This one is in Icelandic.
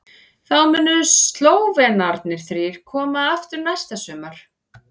Þá munu Slóvenarnir þrír koma aftur næsta sumar.